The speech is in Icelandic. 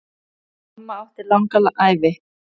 Mamma átti langa ævi.